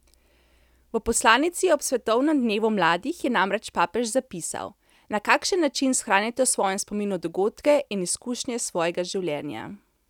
V poslanici ob svetovnem dnevu mladih je namreč papež zapisal: "Na kakšen način shranite v svojem spominu dogodke in izkušnje svojega življenja?